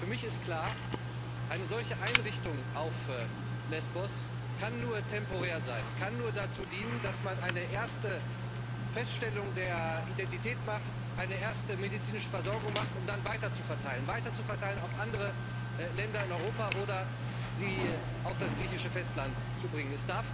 Für mich ist klar Eine solche Einrichtung auf Lesbos kann nur temporär sein, kann nur dazu dienen, dass man eine erste Feststellung der Identität macht, eine erste medizinische Versorgung macht, um dann weiter zu verteilen, weiter zu verteilen auf andere Länder in Europa oder sie auf das griechische Festland zu bringen.